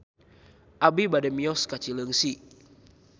Abi bade mios ka Cileungsi